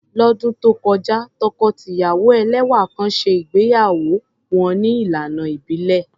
Lọ́dún tó kọjá, tọkọ-tìyàwó ẹlẹ́wà kan ṣe ìgbéyàwó wọn ní ìlànà ìbílẹ̀.